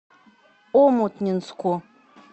омутнинску